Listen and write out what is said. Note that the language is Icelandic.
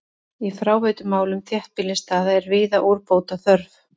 Í fráveitumálum þéttbýlisstaða er víða úrbóta þörf.